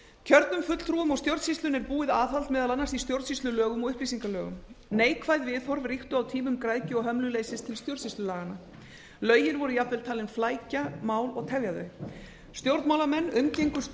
kjörnum fulltrúum og stjórnsýslunni er búið aðhald meðal annars í stjórnsýslulögum og upplýsingalögum neikvæð viðhorf og ríktu á tímum græðgi og hömluleysis til stjórnsýslulaganna lögin voru jafnvel talin flækja mál og tefja þau stjórnmálamenn umgengust